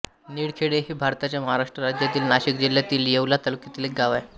निळखेडे हे भारताच्या महाराष्ट्र राज्यातील नाशिक जिल्ह्यातील येवला तालुक्यातील एक गाव आहे